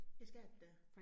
Det skal det da